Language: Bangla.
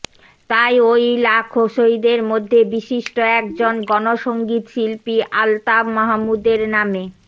তাই ওই লাখো শহীদের মধ্যে বিশিষ্ট একজন গণসংগীত শিল্পী আলতাফ মাহমুদের নামে